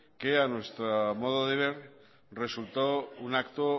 que a nuestro modo de ver resultó un acto